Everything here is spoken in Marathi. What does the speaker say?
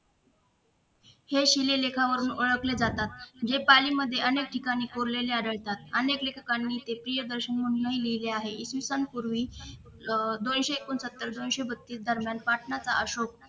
हे शिलालेखावरून ओळखले जातात जे पालीमध्ये अनेक ठिकाणी कोरलेले आढळतात अनेक लेखकाने ते प्रियदर्शनी म्हणूनही लिहिलेल आहेत इसवीसन पूर्वी अह दोनशे एकोणसत्तर दोनशे बत्तीस दरम्यान पाटणाचा अशोक